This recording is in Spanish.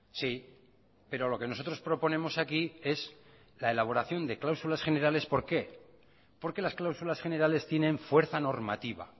sí pero lo que nosotros proponemos aquí es la elaboración de cláusulas generales por qué porque las cláusulas generales tienen fuerza normativa